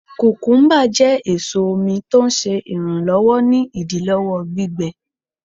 kùkúḿbà jẹ awọn eso omi, tọ ń ṣe iranlọwọ ni idilọwọ gbígbẹ.